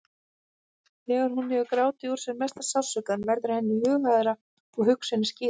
Þegar hún hefur grátið úr sér mesta sársaukann verður henni hughægra og hugsunin skýrist.